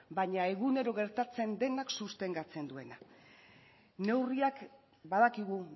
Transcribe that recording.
baina egunero gertatzen denak sostengatzen duena neurriak badakigu